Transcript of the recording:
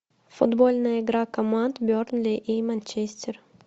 футбольная игра команд бернли и манчестер